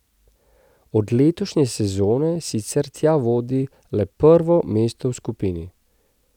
Od letošnje sezone sicer tja vodi le prvo mesto v skupini.